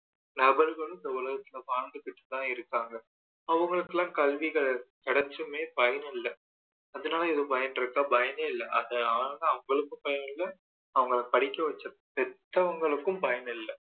நபர்களும் இந்த உலகத்துல வாழ்ந்துகிட்டு தான் இருக்காங்க அவங்களுக்குயெல்லாம் கல்வி கிடைச்சுமே பயன் இல்ல அதனால ஏதும் பயன் இருக்கா பயனே இல்ல அது அவ்ளோ தான் அவங்களுக்கும் பயன் இல்ல அவங்களை படிக்க வைச்ச பெத்தவங்களுக்கும் பயன் இல்ல